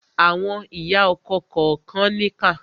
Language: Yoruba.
Àwọn ìyá ọkọ kànkan níkà.